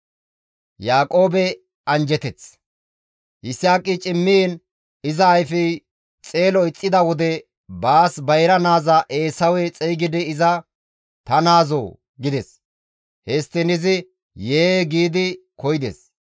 Yisaaqi cimmiin iza ayfey xeelo ixxida wode baas bayra naaza Eesawe xeygidi iza, «Ta naazoo!» gides. Histtiin izi, «Yee!» gi koyides.